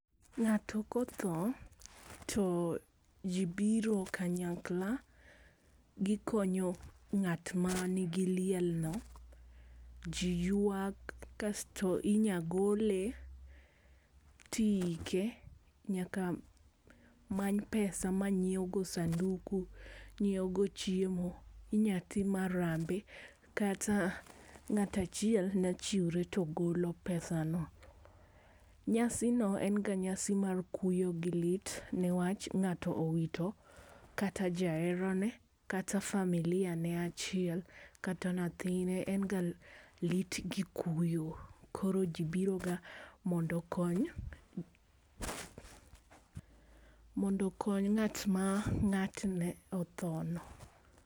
Ng'ato kotho to jii biro kanyakla gikonyo ngat ma nigi liel no. Jii ywak kasto inya gole tiike. Nyaka many pesa ma nyiewgo go sanduku, nyiewgo chiemo. Inya tim harambe kata ngat achiel nya chiwre to golo pesano. Nyasi no en ga nyasi mar kuyo gi lit nikech ngato owito kata jaherane kata familia ne achiel kata nyathine en ga lit gi kuyo. Koro jii biro ga mondo okony mondo okony ng'at ma ng'atne otho no.